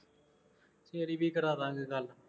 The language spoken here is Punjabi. ਤੇਰੀ ਵੀ ਕਰਾ ਦਿਆਂਗੇ ਗੱਲ